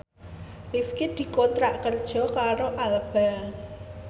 Rifqi dikontrak kerja karo Alba